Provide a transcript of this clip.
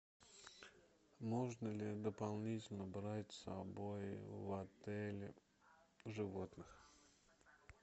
можно ли дополнительно брать с собой в отель животных